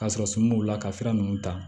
Ka sɔrɔ sumuni b'u la ka sira ninnu ta